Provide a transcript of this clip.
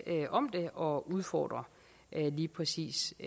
om det og udfordre lige præcis